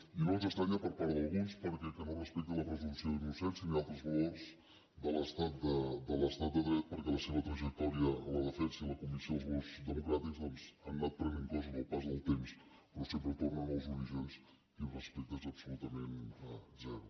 i no ens estranya per part d’alguns que no es respecti la pre·sumpció d’innocència ni altres valors de l’estat de dret perquè la seva trajectòria a la defensa i a la convicció dels valors democràtics doncs ha anat prenent cos amb el pas del temps però sempre tornen als orígens i el respecte és absolutament zero